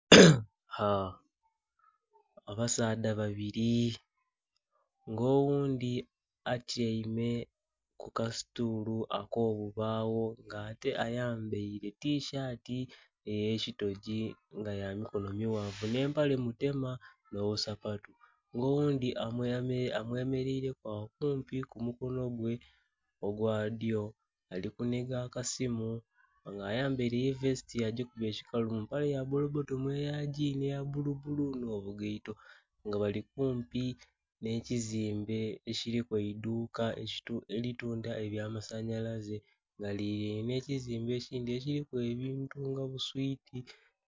haa.. abasaadha babiri nga oghundhi atyaime ku kasitulu ako bibagho nga ate ayambaire tisaati eye kitogi nga yamikono mughanvu nhe empale mu tema nho busapatu nga oghundhi amwe mereire ku agho kumpi ku mukonho gwe ogwa dhyo ali kunhiga akasimu nga ye ayambaire vesiti agikubye ekikalu mu maple ya bbolo bbotomu eya ginhi eya bbulu bbulu nho bugaito nga bali nga bali kumpi nhe kizimbe ekiliku eidhuka eli tundha ebya masanhalaze nga lililainhe nhe kizimbe ekindhi ekiliku ebintu nga buswiti.